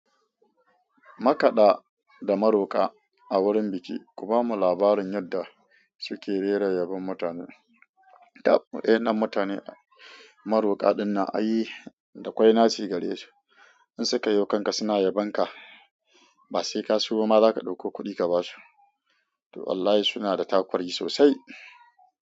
Makada da maroka a wurin biki, ku bamu labarin yadda suke rera yabon mutane, tab wayannan mutane maroka dinnan ai dakwai naci gare su In suka yo kanka suna yabon ka ba sai ka sayo ma zaka ɗauko kuɗi ka ba su to wallahi suna da takuri sosai.